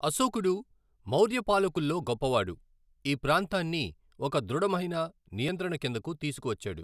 అశోకుడు, మౌర్య పాలకుల్లో గొప్పవాడు, ఈ ప్రాంతాన్ని ఒక దృఢమైన నియంత్రణ కిందకు తీసుకొచ్చాడు.